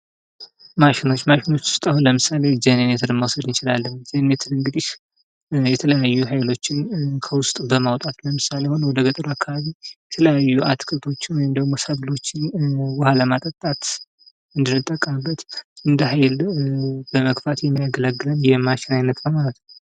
ማሸኖች ማሽኖች ውስጥ አሁን ለምሳሌ፡-ጄኔሬተር መውሰድ እንችላለን ጄኔሬተር እንግዲህ የተለያዩ ኃይሎችን ከውስጡ በማውጣት፥ ለምሳሌ አሁን ወደ ገጠር አካባቢ ሰብሎችን እንዲሁም አትክልቶችን የተለያዩ ውሃ ለማጠጣት የምንጠቀምበት እንደ ሃይል በመግፋት የሚያገለግለን የማሽን አይነት ነው ማለት ነው።